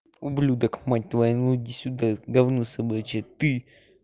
ублюдок мать твою ну иди сюда гавно собачье ты